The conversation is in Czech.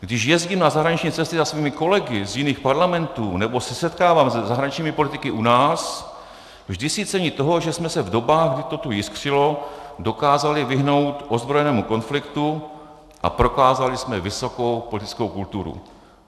"Když jezdím na zahraniční cesty za svými kolegy z jiných parlamentů nebo se setkávám se zahraničními politiky u nás, vždy si cením toho, že jsme se v dobách, kdy to tu jiskřilo, dokázali vyhnout ozbrojenému konfliktu a prokázali jsme vysokou politickou kulturu...